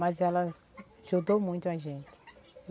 Mas elas ajudou muito a gente.